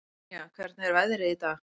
Tanía, hvernig er veðrið í dag?